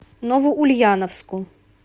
новоульяновску